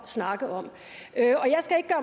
snakke om